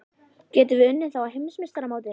Getum við unnið þá á Heimsmeistaramótinu?